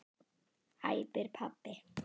æpir pabbi.